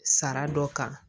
Sara dɔ kan